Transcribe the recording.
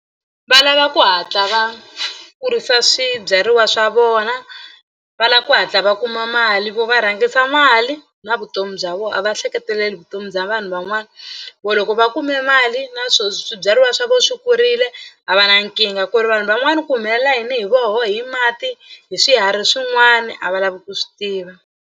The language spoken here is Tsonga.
Va lava ku hatla va kurisa swibyariwa swa vona va lava ku hatla va kuma mali vo va rhangisa mali na vutomi bya vona a va ehleketeleli vutomi bya vanhu van'wana vo loko va kume mali na swo swibyariwa swa vona swi kurile a va na nkingha ku ri vanhu van'wana ku humelela yini hi voho hi mati hi swiharhi swin'wana a va lavi ku swi tiva.